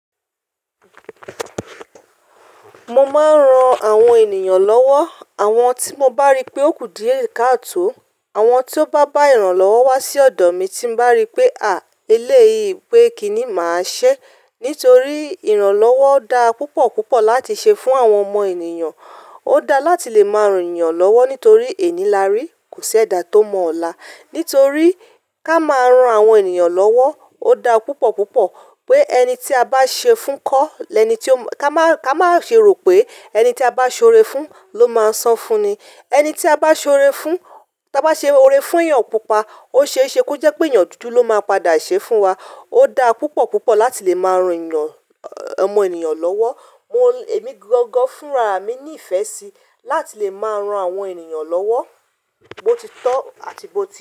Mo maan ran àwọn ènìyàn lọ́wọ́. Àwọn tí mo bá rí pé ó kù díẹ̀ ká tòó, àwọn tí ó bá bá ìrànlọ́wọ́ wá sí ọ̀dọ̀ mi tí bá rí pé, àa eléyìí pé kí ni màá ṣẹ́? Nítorí ìrànlọ́wọ́ da púpọ̀ púpọ̀ láti ṣe fún àwọn ọmọ ènìyàn. Ó da láti lè máa ràn èeyàn lọ́wọ́ nítorí ẹni lári kò sí ẹ̀dà tó mọ ọ̀la. Nítorí ká máa ń ran àwọn ènìyàn lọ́wọ́, ó da púpọ̀ púpọ̀ pé ẹni tí a bá ṣe fún kọ́ lẹni tí ó máa ká máa ṣe rò pé ẹni tí a bá ṣe ore fún ló máa san fún ni. Ẹni tí a bá ṣe ore fún, tí a bá ṣe ore fún èèyàn pupa, ó ṣe é ṣe kó jẹ́ pé èèyàn dúdú ló máa padà ṣe fún wa. Ó da púpọ̀ púpọ̀ láti lè máa ran ẹ̀eyàn, ọmọ ènìyàn lọ́wọ́. Mo, èmi gangan fúnraà mi ní ìfẹ́ sí láti lè máa ran àwọn ènìyàn lọ́wọ́, bo ti tọ́ àti bo ti.